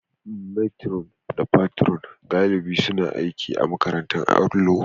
matron da Patron galibi suna aiki a makarantar allo